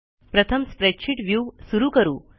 प्रथम spreadsheet view सुरू करू